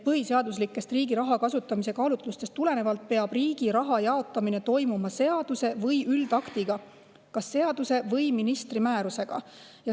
Põhiseaduslikest riigi raha kasutamise kaalutlustest tulenevalt peab riigi raha jaotamine toimuma seaduse või üldaktiga, kas seaduse või ministri määrusega.